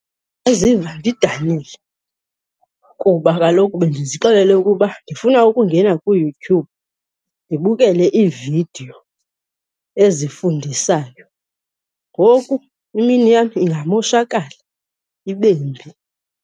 Ndingaziva ndidanile kuba kaloku bendizixelele ukuba ndifuna ukungena kuYouTube ndibukele iividiyo ezifundisayo, ngoku imini yam ingamoshakala, ibe mbi.